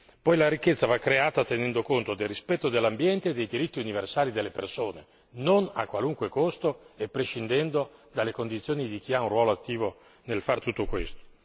Poi la ricchezza va creata tenendo conto del rispetto dell'ambiente e dei diritti universali delle persone, non a qualunque costo e prescindendo dalle condizioni di chi ha un ruolo attivo nel fare tutto questo.